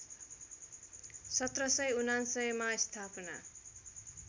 १७९९ मा स्थापना